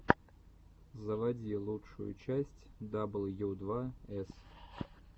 заводи лучшую часть дабл ю два эс